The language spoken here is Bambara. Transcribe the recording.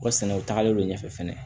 O sɛnɛ o tagalen do ɲɛfɛ fɛnɛ